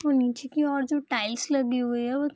नीचे की ओर जो टाइल्स लगी हुई है वो --